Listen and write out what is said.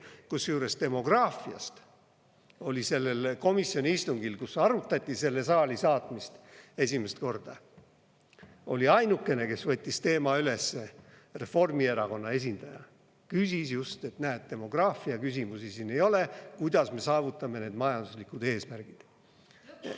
Kusjuures demograafiast oli sellel komisjoni istungil, kus esimest korda arutati selle saali saatmist, ainukene, kes võttis teema üles, Reformierakonna esindaja, ütles, et näed, demograafiaküsimusi siin ei ole, kuidas me saavutame need majanduslikud eesmärgid.